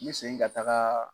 I ye segin ka tagaa